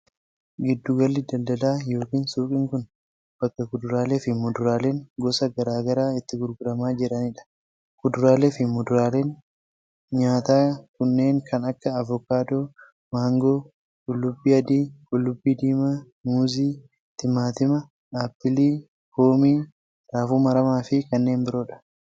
Giddu galli daldalaa yookin suuqiin kun, bakka kuduraalee fi muduraaleen gosa garaa garaa itti gurguramaa jiranii dha. Kuduraalee fi muduraaleen nyaataa kunneen kan akka:aokaadoo, maangoo, qullubbii adii, qullubbii diimaa, muuzii, timaatima, aaplilii, poomii, raafuu maramaa fi kanneen biroo dha.